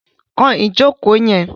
Kan ìjókòó yẹn!